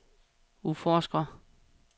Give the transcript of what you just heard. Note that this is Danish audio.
udforsker